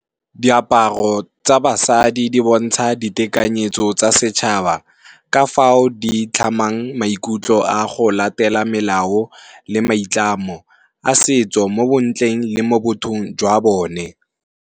Diaparo tsa basadi di bontsha ditekanyetso tsa setšhaba ka fao di tlhamang maikutlo a go latela melao le maitlamo a setso mo bontleng le mo bothong jwa bone.